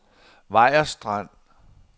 Vejers Strand